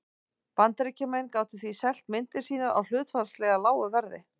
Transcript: Bandaríkjamenn gátu því selt myndir sínar á hlutfallslega lágu verði.